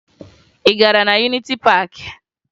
Ị gara na Yuniti Paakị?